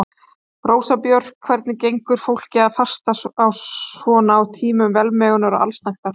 Rósa Björk: Hvernig gengur fólki að fasta svona á tímum velmegunar og allsnægta?